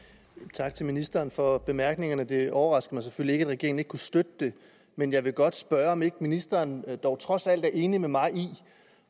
tak til ministeren for bemærkningerne det overrasker mig selvfølgelig regeringen ikke kunne støtte det men jeg vil godt spørge om ikke ministeren dog trods alt er enig med mig i og